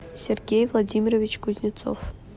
сергей владимирович кузнецов